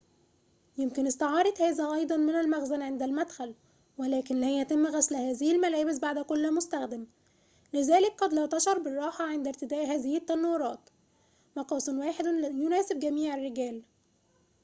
يُمكن استعارة هذا أيضاً من المخزن عند المدخل ولكن لا يتم غسل هذه الملابس بعد كل مستخدم لذلك قد لا تشعر بالراحة عند ارتداء هذه التنورات مقاسٌ واحدٌ يناسبُ جميعَ الرِّجَالِ